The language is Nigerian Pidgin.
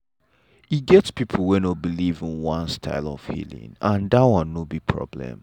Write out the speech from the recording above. e get people wey no believe in one style of healing and that one no be problem.